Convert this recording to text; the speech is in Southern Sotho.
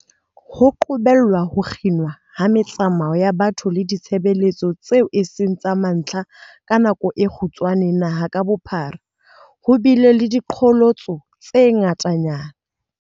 Ho qobella ho kginwa ha me-tsamao ya batho le ditshebeletso tseo eseng tsa mantlha ka nako e kgutshwane naha ka bophara, ho bile le diqholotso tse ngata-nyana.